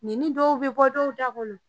Nɛni dɔw be bɔ dɔw da kɔnɔ